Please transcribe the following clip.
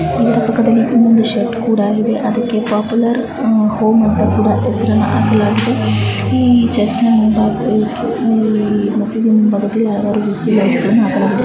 ಈ ಚಿತ್ರದಲ್ಲಿ ಇಲ್ಲೊಂದು ಶೆಡ್ ಕೂಡ ಇದೆ ಅದಕ್ಕೆ ಪಾಪ್ಯುಲರ್ ಹೋಂ ಅಂತ ಹೆಸರು